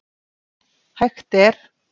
Hægt er